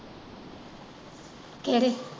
ਕਿਹੜੇ।